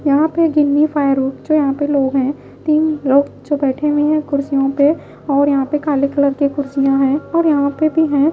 यहां पे गिन्नी फायर रोड जो यहां पे लोग हैं तीन लोग जो बैठे हुए हैं कुर्सियों पे और यहां पे काले कलर के कुर्सियां हैं और यहां पे भी हैं।